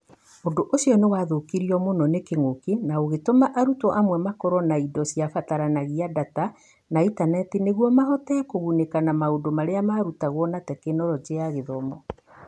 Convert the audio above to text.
ũndũ ũcio nĩ waathũkirio mũno nĩ kĩng'ũki, na ũgĩtũma arutwo amwe makorũo na indo iria ciabataranagia, ndata, na intaneti nĩguo mahote kũgunĩka na maũndũ marĩa marutagwo na Tekinoronjĩ ya Gĩthomo.